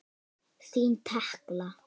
Þín Tekla.